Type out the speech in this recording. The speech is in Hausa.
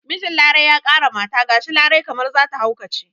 Mijin larai ya ƙara mata gashi larai kamar zata haukace